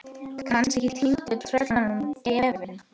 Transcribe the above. Kannski týndur og tröllum gefinn.